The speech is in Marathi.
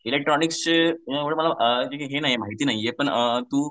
इलेक्ट्रॉनिक्सचे एवढी मला माहिती नाहीये पण तू